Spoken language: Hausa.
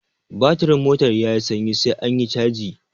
Batirin motar yayi sanyi sai anyi caji